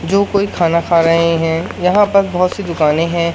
जो कोई खाना खा रहे हैं। यहां पर बहोत सी दुकाने है।